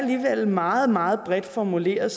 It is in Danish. meget meget bredt formuleret